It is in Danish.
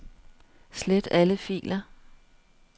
Slet alle filer.